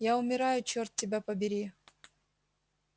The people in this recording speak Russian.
я умираю чёрт тебя побери